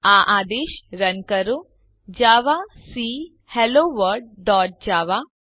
આ આદેશ રન કરો જાવાક હેલોવર્લ્ડ ડોટ જાવા